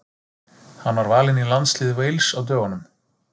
Hann var valinn í landslið Wales á dögunum.